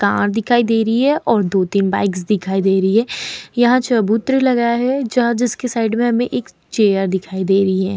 Car दिखाई दे रही है और दो-तीन बाइक्स दिखाई दे रही हैं। यहाँ चबूतरा लगा है जहां जिसके साइड में हमें एक चेयर दिखाई दे रही है।